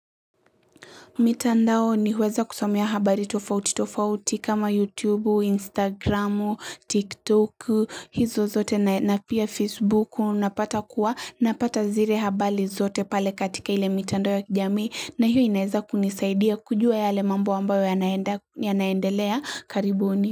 Mitandaoni huweza kusomea habari tofautitofauti kama YouTube, Instagram, TikTok, hizo zote na pia Facebook unapata kuwa napata zire habari zote pale katika ile mitandao ya kijami na hiyo inaeza kunisaidia kujua yale mambo ambayo yanaendelea karibuni.